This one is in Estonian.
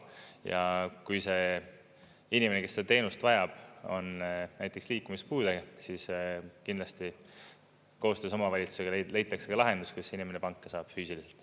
Ja kui see inimene, kes seda teenust vajab, on näiteks liikumispuudega, siis kindlasti koostöös omavalitsusega leitakse lahendus, kuidas inimene panka saab füüsiliselt.